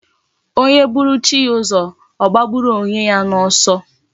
Eeh, onye buru chi ya uzo, gbagburu onye ya na oso